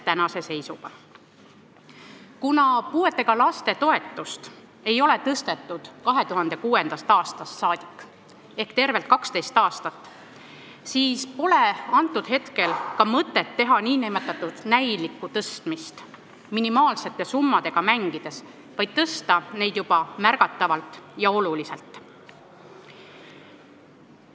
Kuna puudega lapse toetust ei ole tõstetud 2006. aastast saadik ehk tervelt 12 aastat, siis pole mõtet teha nn näilikku tõstmist minimaalsete summadega mängides, vaid tuleks tõsta juba märgatavalt ja oluliselt.